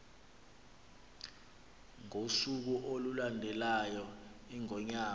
ngosuku olulandelayo iingonyama